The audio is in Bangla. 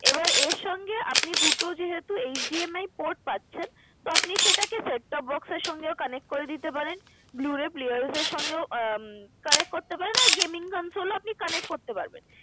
এবার এর সঙ্গে আপনি দুটো যেহেতু HDMI port পাচ্ছেন তো আপনি সেটাকে Set-top box এর সঙ্গেও connect করে দিতে পারেন। blue ray player এর সঙ্গেও আহ connect করে দিতে পারেন আর gaming consoul আপনি connect করতে পারবেন।